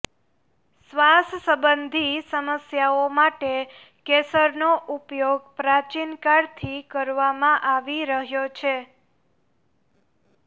શ્વાસ સંબંધી સમસ્યાઓ માટે કેસરનો ઉપયોગ પ્રાચીન કાળથી કરવામાં આવી રહ્યો છે